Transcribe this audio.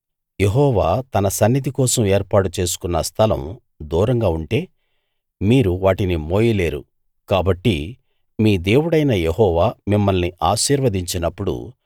యెహోవా తన సన్నిధి కోసం ఏర్పాటు చేసుకున్న స్థలం దూరంగా ఉంటే మీరు వాటిని మోయలేరు కాబట్టి మీ దేవుడైన యెహోవా మిమ్మల్ని ఆశీర్వదించినప్పుడు